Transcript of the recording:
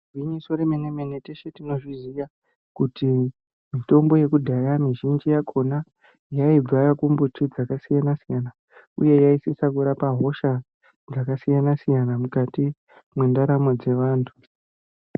Igwinyiso remenemene teshe tinozviziya kuti mitombo yekudhaya mizhinji yakona yaibva kumbiti dzakasiyanasiya uye yaisisa kurapa hosha dzakasiyana siyana mukati mwendaramo dzevantu.